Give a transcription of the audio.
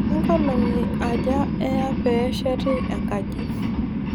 kenkolong'i aja eya peesheti ankaji?